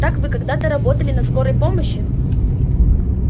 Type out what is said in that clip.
так вы когда-то работали на скорой помощи